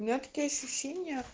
у меня такое ощущение